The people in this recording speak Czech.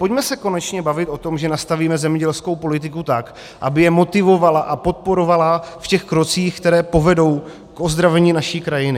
Pojďme se konečně bavit o tom, že nastavíme zemědělskou politiku tak, aby je motivovala a podporovala v těch krocích, které povedou k ozdravení naší krajiny.